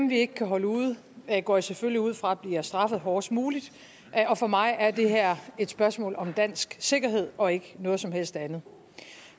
vi ikke kan holde ude går jeg selvfølgelig ud fra bliver straffet hårdest muligt og for mig er det her et spørgsmål om dansk sikkerhed og ikke noget som helst andet